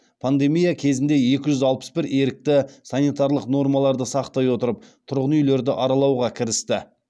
пандемия кезінде екі жүз алпыс бір ерікті санитарлық нормаларды сақтай отырып тұрғын үйлерді аралауға кірісті